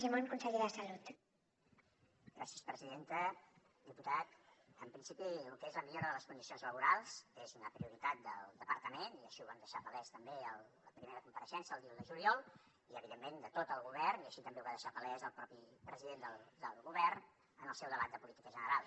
diputat en principi lo que és la millora de les condicions laborals és una prioritat del departament i així ho vam deixar palès també a la primera compareixença el dia un de juliol i evidentment de tot el govern i així també ho va deixar palès el propi president del govern en el seu debat de política general